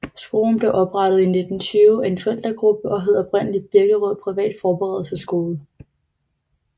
Skolen blev oprettet i 1920 af en forældregruppe og hed oprindelig Birkerød private Forberedelsesskole